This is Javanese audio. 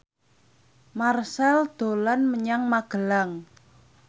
Marchell dolan menyang Magelang